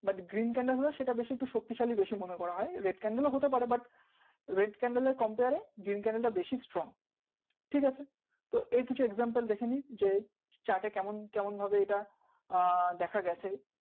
but green candle হলে সেটা বেশি একটু শক্তি শালী বেশি মনে করা হয় red candle ও হতে পারে but red candle এর compare এ green candle টা বেশি strong ঠিক আছে তো এর কিছু দেখেনি যে chart কেমন কেমন ভাবে এটা আহ দেখা গেছে